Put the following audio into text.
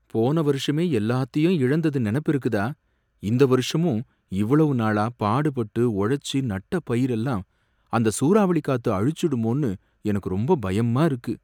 போன வருஷமே எல்லாத்தையும் இழந்தது நெனப்பிருக்குதா? இந்த வருஷமும் இவ்வளவு நாளா பாடுபட்டு உழைச்சு நட்ட பயிரெல்லாம் அந்த சூராவளிக்காத்து அழிச்சுடுமோன்னு எனக்கு ரொம்ப பயமா இருக்கு.